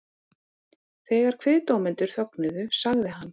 Þegar kviðdómendur þögnuðu sagði hann